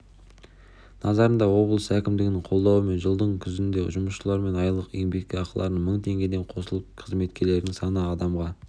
назарында облыс әкімдігінің қолдауымен жылдың күзінде жұмысшылардың айлық еңбекақыларына мың теңгеден қосылып қызметкерлердің саны адамға